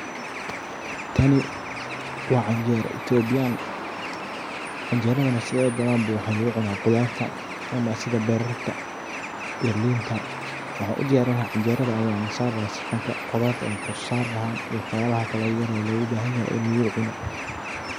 Tani waa canjero itobiyan. Canjerada sideda bananba waxa lagu cuna khudarta ama sidha bararta iyo linta waxan u diyarin laha canjerada ayan kor sari lahaa saxanka kudara waxyalaha kalo yaryar oo logu bahan yahay ini logu cuno.